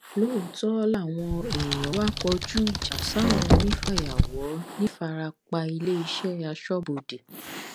lóòótọ́ làwọn èèyàn wá kọjú ìjà sáwọn onífàyàwọ ńìfarapailéeṣẹ aṣọbodè